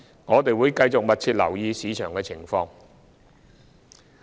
我們會繼續密切留意市場情況。